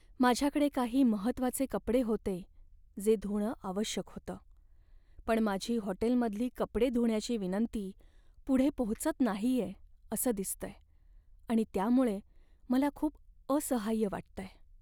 माझ्याकडे काही महत्वाचे कपडे होते जे धुणं आवश्यक होतं, पण माझी हॉटेलमधली कपडे धुण्याची विनंती पुढे पोहोचत नाहीये असं दिसतंय आणि त्यामुळे मला खूप असहाय्य वाटतंय.